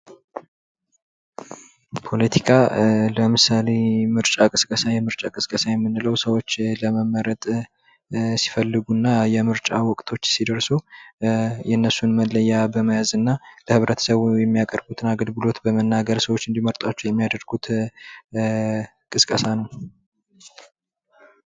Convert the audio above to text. ፖለቲካ ለምሳሌ የምርጫ ቅስቀሳ የምንለው ሰዎች ለመመረጥ ሲፈልጉና የምርጫ ወቅቶች ሲደርሱ የእነሱን መለያ በመያዝ እና ለህብረተሰቡ የሚያቀርቡትን አገልግሎት በመናገር ሰዎች እንዲመርጧቸው የሚያደርጉት ቅስቀሳ ነው።